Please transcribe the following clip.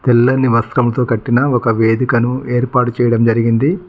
తెల్లని వస్త్రంతో కట్టిన ఒక వేదికను ఏర్పాటు చేయడం జరిగింది.